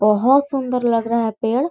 बहोत सुंदर लग रहा है पेड़--